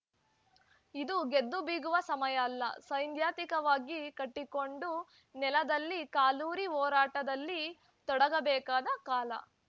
ಇದು ಗೆದ್ದು ಬೀಗುವ ಸಮಯ ಅಲ್ಲ ಸೈನ್ ನಂತಿಕವಾಗಿ ಗಟ್ಟಿಗೊಂಡು ನೆಲದಲ್ಲಿ ಕಾಲೂರಿ ಹೋರಾಟದಲ್ಲಿ ತೊಡಗಬೇಕಾದ ಕಾಲ